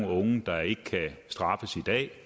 unge der ikke kan straffes i dag